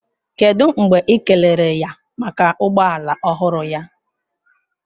Kedu mgbe ị kelere ya maka ụgbọ ala ọhụrụ ya?